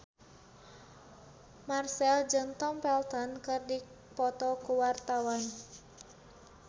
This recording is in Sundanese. Marchell jeung Tom Felton keur dipoto ku wartawan